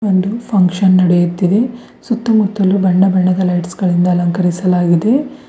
ಒಂದು ಫಂಕ್ಷನ್ ನಡೆಯುತ್ತಿದೆ ಸುತ್ತ ಮುತ್ತಲು ಬಣ್ಣ ಬಣ್ಣದ ಲೈಟ್ಸ್ ಗಳಿಂದ ಅಲಂಕರಿಸಲಾಗಿದೆ.